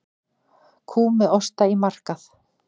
Kú með osta á markað